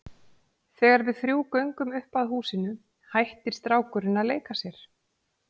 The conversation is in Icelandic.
Þegar við þrjú göngum upp að húsinu hættir strákurinn að leika sér.